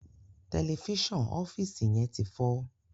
Tẹlifíṣàn ọfiisi yén tí fọ